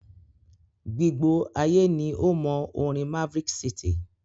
Gbigbọ ayé ni o mo orin Maverick city.